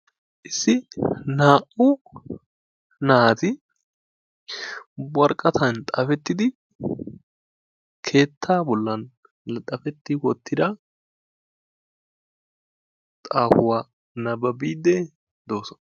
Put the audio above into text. Issi naa''u naati worqqatan xaafettidi keettaa bolan laxafetti wottida xaafuwa nababiiddi doosona.